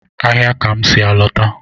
Ahịa ka m si a lọta.